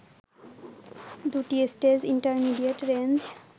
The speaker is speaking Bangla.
দুটি স্টেজ ইন্টারমিডিয়েট রেঞ্জ